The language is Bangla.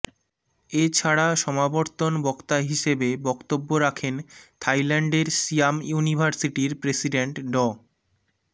এ ছাড়া সমাবর্তন বক্তা হিসেবে বক্তব্য রাখেন থাইল্যান্ডের সিয়াম ইউনিভার্সিটির প্রেসিডেন্ট ড